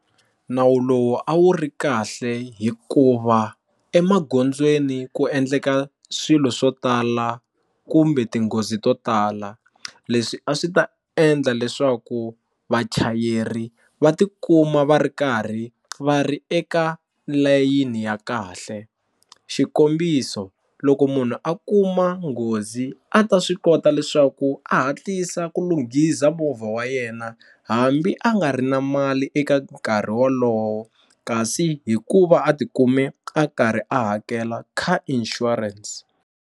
Nawu lowu a wu ri kahle hikuva emagondzweni ku endleka swilo swo tala kumbe tinghozi to tala leswi a swi ta endla leswaku vachayeri va ti kuma va ri karhi va ri eka layini ya kahle xikombiso, loko munhu a kuma nghozi a ta swi kota leswaku a hatlisa ku lunghisa movha wa yena hambi a nga ri na mali eka nkarhi wolowo kasi hikuva a ti kume a karhi a hakela car insurance.